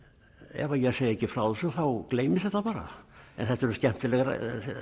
ef ég segi ekki frá þessu þá gleymist þetta bara en þetta eru skemmtilegar